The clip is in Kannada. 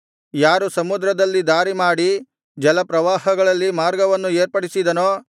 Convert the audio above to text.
ಯಾರು ಸಮುದ್ರದಲ್ಲಿ ದಾರಿಮಾಡಿ ಜಲಪ್ರವಾಹಗಳಲ್ಲಿ ಮಾರ್ಗವನ್ನು ಏರ್ಪಡಿಸಿದನೋ